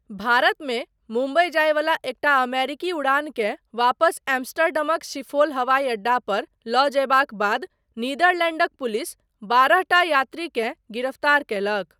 भारतमे मुम्बई जायवला एकटा अमेरिकी उड़ानकेँ वापस एम्स्टर्डमक शिफोल हवाई अड्डा पर लऽ जयबाक बाद नीदरलैंडक पुलिस बारहटा यात्रीकेँ गिरफ्तार कयलक।